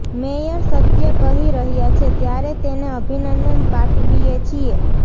mayor સત્ય કહી રહ્યા છે ત્યારે તેને અભિનંદન પાઠવીએ છીએ